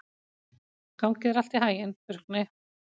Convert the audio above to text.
Gangi þér allt í haginn, Burkni.